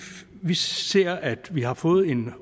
vi ser at vi har fået en